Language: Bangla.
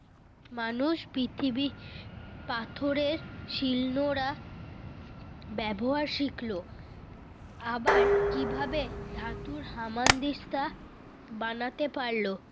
মানুষ পৃথিবী পাথরের শিল নোড়া ব্যবহার শিখল? আবার কিভাবে ধাতুর হামানদিস্তা বানাতে পারল?